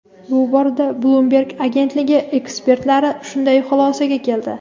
Bu borada "Bloomberg" agentligi ekspertlari shunday xulosaga keldi.